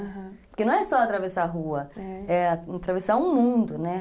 Aham, porque não é só atravessar a rua, é, é atravessar um mundo, né?